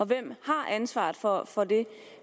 hvem har ansvaret for for det